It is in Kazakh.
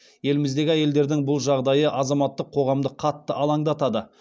еліміздегі әйелдердің бұл жағдайы азаматтық қоғамды қатты алаңдатады